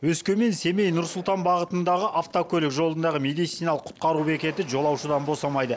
өскемен семей нұр сұлтан бағытындағы автокөлік жолындағы медициналық құтқару бекеті жолаушыдан босамайды